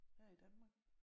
Her i Danmark